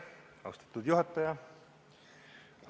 Austatud juhataja!